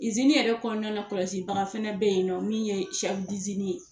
yɛrɛ kɔnɔna na kɔlɔsi baga fɛnɛ bɛ ye nɔ min ye